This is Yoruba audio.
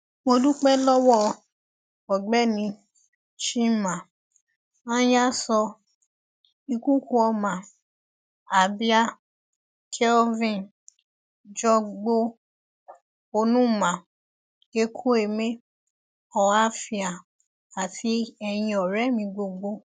mo dúpẹ lọwọ ọgbẹni chima anyaso ikukuoma abia kelvin jọgbò onumah ekwueme ohafia àti eyín ọrẹ mi gbogbo